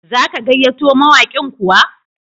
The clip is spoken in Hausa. Za ka gayyato mawaƙin kuwa?